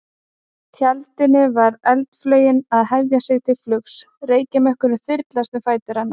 tjaldinu var eldflaugin að hefja sig til flugs, reykjarmökkur þyrlaðist um fætur hennar.